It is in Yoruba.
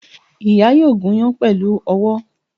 Ìyá yóò gúnyán pèlú owó